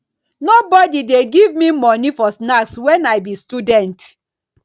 nobodi dey give me moni for snacks wen i be student